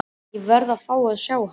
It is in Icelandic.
Ég verð að fá að sjá hann.